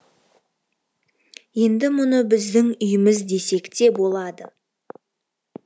енді мұны біздің үйіміз десек те болады